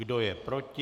Kdo je proti?